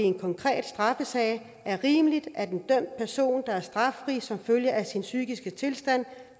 en konkret straffesag er rimeligt at en dømt person der er straffri som følge af sin psykiske tilstand